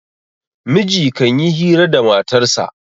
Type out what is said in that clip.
miji kan yi hira da matarsa